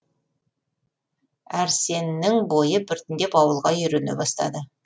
әрсеннің бойы біртіндеп ауылға үйрене бастады